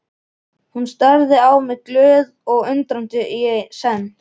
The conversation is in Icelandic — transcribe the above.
Hún starði á mig glöð og undrandi í senn.